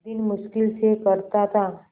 दिन मुश्किल से कटता था